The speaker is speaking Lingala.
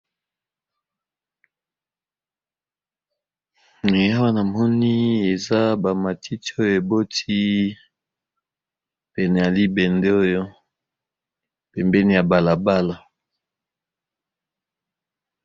Awa moni eza bamatiti oyo eboti pene ya libende oyo pembeni ya balabala.